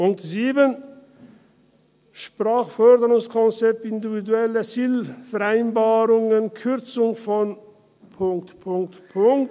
Punkt 7, Sprachförderungskonzept, individuelle Zielvereinbarungen, Kürzung von – Punkt, Punkt, Punkt.